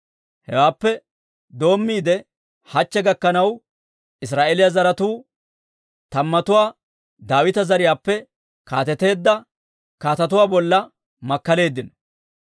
Heewaappe doommiide hachche gakkanaw Israa'eeliyaa zaratuu tammatuu Daawita zariyaappe kaateteedda kaatetuwaa bolla makkaleeddino.